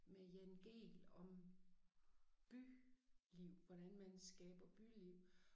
Med Jan Gehl om byliv hvordan man skaber byliv